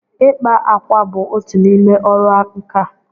ịkpa ákwà bụ otu n'ime ọrụ nka.